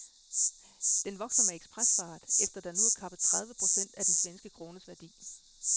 Den vokser med ekspresfart efter der nu er kappet tredive procent af den svenske krones værdi.